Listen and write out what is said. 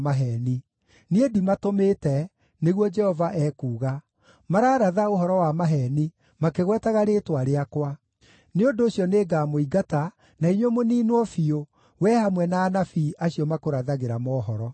‘Niĩ ndimatũmĩte,’ nĩguo Jehova ekuuga. ‘Mararatha ũhoro wa maheeni, makĩgwetaga rĩĩtwa rĩakwa. Nĩ ũndũ ũcio nĩngamũingata, na inyuĩ mũniinwo biũ, wee hamwe na anabii acio makũrathagĩra mohoro.’ ”